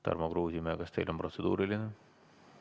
Tarmo Kruusimäe, kas teil on protseduuriline?